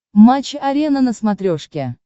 матч арена на смотрешке